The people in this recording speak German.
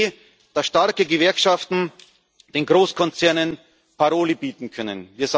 Die Idee, dass starke Gewerkschaften den Großkonzernen Paroli bieten können.